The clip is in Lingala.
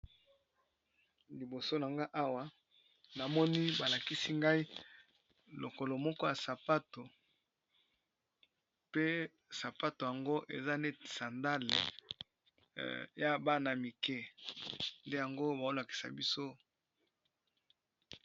Liboso nangai awa balakisi Ngai lokolo moko ya sapato pee sapato wana eza lokola sandale ya basi